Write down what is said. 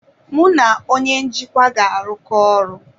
Mụ na onye njikwa ga-arụkọ ọrụ.